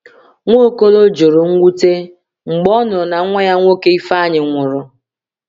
Nwaokolo jụrụ mwute mgbe ọ nụrụ na nwa ya nwoke Ifeanyi nwụrụ.